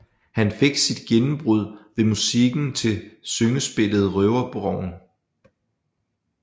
Han fik sit gennembrud med musikken til syngespillet Røverborgen